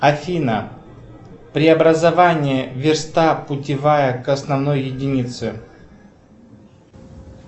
афина преобразование верста путевая к основной единице